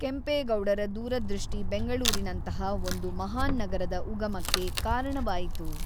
ಕೆಂಪೇಗೌಡರ ದೂರದೃಷ್ಟಿ ಬೆಂಗಳೂರಿನಂತಹ ಒಂದು ಮಹಾನ್ ನಗರದ ಉಗಮಕ್ಕೆ ಕಾರಣವಾಯಿತು.